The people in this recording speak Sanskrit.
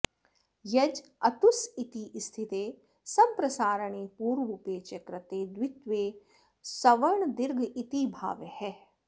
यज् अतुस् इति स्थिते संप्रसारणे पूर्वरूपे च कृते द्वित्वे सवर्णदीर्घ इति भावः